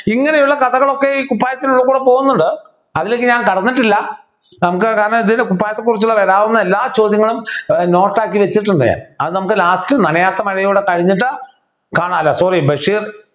ഇങ്ങനെയുള്ള കഥകളൊക്കെ ഈ കുപ്പായത്തിനുള്ളി കൂടെ പോകുന്നുണ്ട് അതിലേക്ക് ഞാൻ കടന്നിട്ടില്ല കുപ്പായത്തെക്കുറിച്ച് വരാവുന്ന എല്ലാ ചോദ്യങ്ങളും ഏർ note ആക്കി വച്ചിട്ടുണ്ട് ഞാൻ അത് നമുക്ക് last നനയാത്ത മഴ കൂടെ കഴിഞ്ഞിട്ട് കാണാലോ sorry ബഷീർ